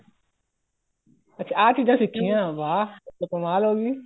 ਅੱਛਾ ਆ ਚੀਜ਼ਾਂ ਸਿਖਿਆਂ ਵਾਹ ਫ਼ੇਰ ਤਾਂ ਕਮਾਲ ਹੋ ਗਈ